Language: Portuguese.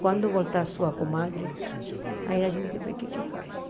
Quando voltar a sua comadre, aí a gente vê o que é que faz.